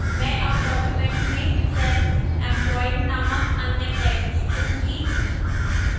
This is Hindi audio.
मैं अब document में self employed नामक अन्य text चुनूंगी